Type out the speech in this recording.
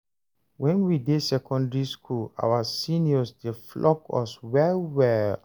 wen we dey secondary school, our seniors dey flog us well well